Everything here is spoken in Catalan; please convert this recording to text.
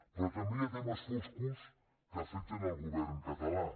però també hi ha temes foscos que afecten el govern català